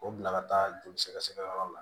O bila ka taa joli sɛgɛsɛgɛ yɔrɔ la